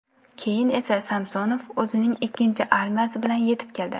Keyin esa Samsonov o‘zining ikkinchi armiyasi bilan yetib keldi.